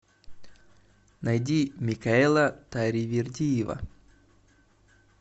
найди микаэла таривердиева